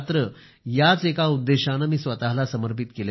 याच एका उद्देशाने मी स्वतःला समर्पित केले आहे